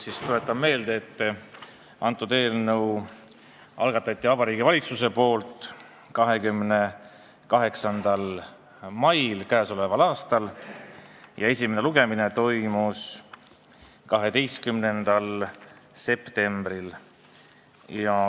Kõigepealt tuletan meelde, et selle eelnõu algatas Vabariigi Valitsus 28. mail k.a ja esimene lugemine toimus 12. septembril.